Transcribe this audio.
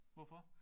Hvorfor?